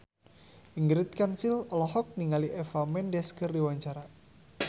Ingrid Kansil olohok ningali Eva Mendes keur diwawancara